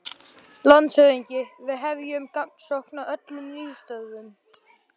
LANDSHÖFÐINGI: Við hefjum gagnsókn á öllum vígstöðvum.